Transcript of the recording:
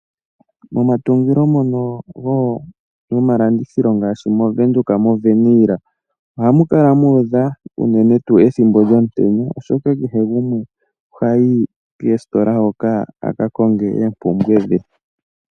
Momatungilo mono gomalandithilo ngaashi moWindhoek moWernill ohamu kala mu udha uunene tuu ethimbo lyomutenya, oshoka kehe gumwe ohayi koositola hoka a ka konge oopumbwe dhe.